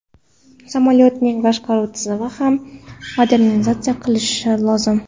Samolyotning boshqaruv tizimi ham modernizatsiya qilinishi lozim.